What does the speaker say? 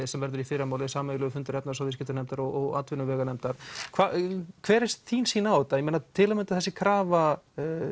sem verður í fyrramálið sameiginlegur fundur efnahags og viðskiptanefndar og atvinnuveganefndar hver er þín sýn á þetta til að mynda þessi krafa